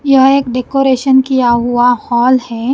यह एक डेकोरेशन किया हुआ हॉल है।